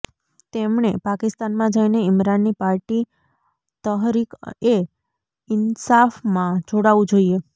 તેમણે પાકિસ્તાનમાં જઈને ઈમરાનની પાર્ટી તહરીક એ ઈન્સાફમાં જોડાવું જોઈએ